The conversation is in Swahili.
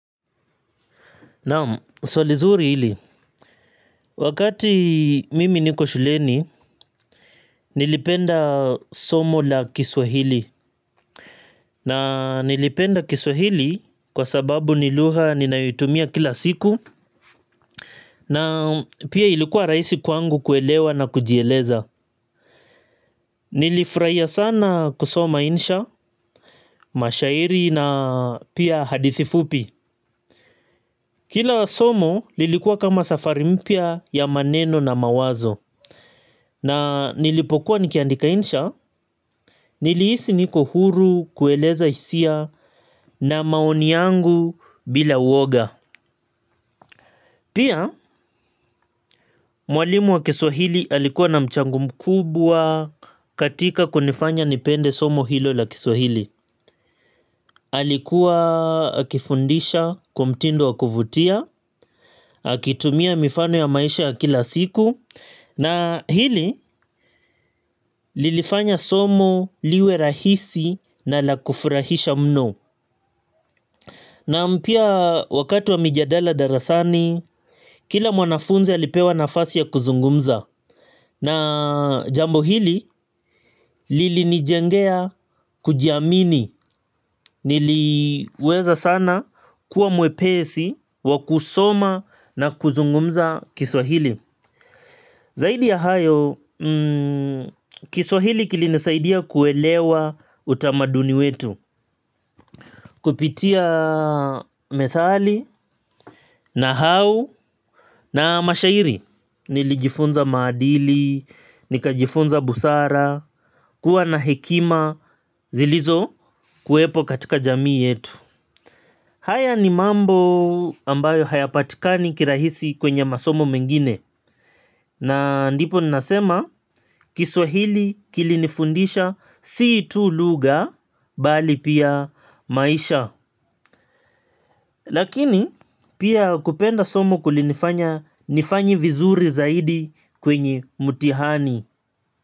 Naam, swali zuri hili. Wakati mimi niko shuleni, nilipenda somo la kiswahili. Na nilipenda kiswahili kwa sababu ni lugha ninayoitumia kila siku, na pia ilikuwa rahisi kwangu kuelewa na kujieleza. Nilifurahia sana kusoma insha, mashairi na pia hadithi fupi. Kila somo lilikuwa kama safari mpya ya maneno na mawazo. Na nilipokuwa nikiandika insha, nilihisi niko huru kueleza hisia na maoni yangu bila uwoga. Pia mwalimu wa kiswahili alikuwa na mchango mkubwa katika kunifanya nipende somo hilo la kiswahili. Alikuwa akifundisha kwa mtindo wa kuvutia. Akitumia mifano ya maisha ya kila siku, na hili lilifanya somo liwe rahisi na la kufurahisha mno. Naam, pia wakati wa mijadala darasani, kila mwanafunzi alipewa nafasi ya kuzungumza. Na jambo hili lilinijengea kujiamini. Niliweza sana kuwa mwepesi wa kusoma na kuzungumza kiswahili. Zaidi ya hayo kiswahili kilinisaidia kuelewa utamaduni wetu. Kupitia methali, nahau na mashairi. Nilijifunza maadili, nikajifunza busara, kuwa na hekima zilizokuwepo katika jamii yetu. Haya ni mambo ambayo hayapatikani kirahisi kwenye masomo mengine na ndipo ninasema kiswahili kilinifundisha si tu lugha bali pia maisha. Lakini pia kupenda somo kulinifanya nifanye vizuri zaidi kwenye mtihani.